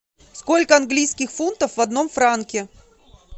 сколько английских фунтов в одном франке